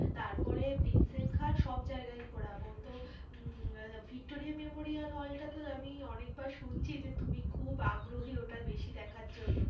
তারপরে প্রিন্সেটঘাট সব জায়গায় ঘোরাবো তো উম ভিক্টোরিয়া মেমোরিয়াল হলটা তো আমি অনেকবার শুনছি যে তুমি খুব আগ্রহী ওটা বেশি দেখার জন্য।